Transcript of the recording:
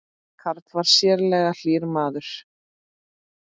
Karl var sérlega hlýr maður.